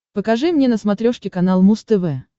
покажи мне на смотрешке канал муз тв